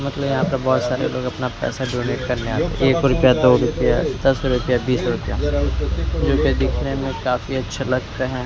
मतलब यहां पर बहोत सारे लोग अपना अपना पैसा डोनेट करने आते है एक रुपया दो रुपया दस रुपया बीस रुपया जो कि दिखने में काफी अच्छे लगते है।